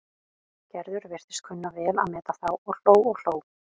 Gerður virtist kunna vel að meta þá og hló og hló.